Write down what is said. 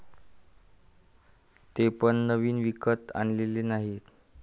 ते पण नवीन विकत आणलेले नाही.